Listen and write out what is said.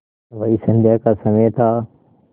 वही संध्या का समय था